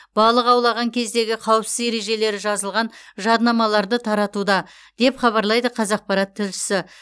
балық аулаған кездегі қауіпсіз ережелері жазылған жадынамаларды таратуда деп хабарлайды қазақпарат тілшісі